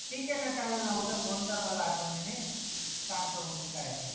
ठीक आहे ना चालेल ना उद्या फोन कर मला आठवणीने सांगतो मी काय आहे ते